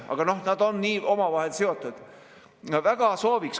Aga nad on omavahel seotud.